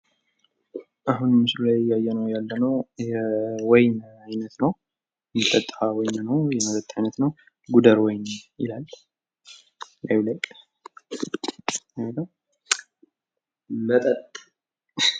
አሁን ምስሉ ላይ እያየነው ያለነው የወይን አይነት ነው፤ የሚጠጣ ወይን ነው የመጠጥ አይነት ነው። ጉደር ወይን ይላል።